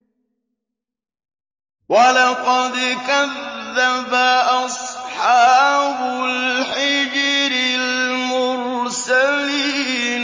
وَلَقَدْ كَذَّبَ أَصْحَابُ الْحِجْرِ الْمُرْسَلِينَ